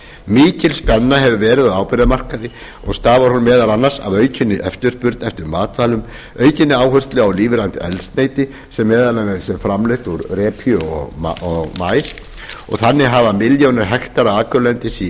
mikil spenna hefur verið á áburðarmarkaði og stafar hún meðal annars af aukinni eftirspurn eftir matvælum og aukinni áherslu á lífrænt eldsneyti sem meðal annars er framleitt úr repju og maís þannig hafa milljónir hektara akurlendis í